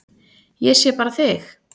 Ég sé bara þig!